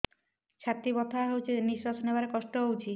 ଛାତି ବଥା ହଉଚି ନିଶ୍ୱାସ ନେବାରେ କଷ୍ଟ ହଉଚି